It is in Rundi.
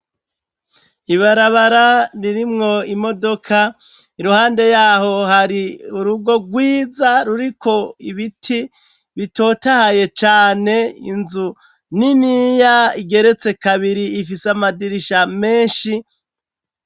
Ibarabara ririmwo imodoka iruhande yaho hari urugo rwiza ruriko ibiti bitotahaye cane .Inzu niniya igeretse kabiri ifise amadirisha menshi.